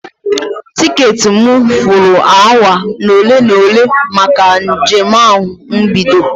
Tiketị m furu awa ole na ole maka njem ahụ ibido.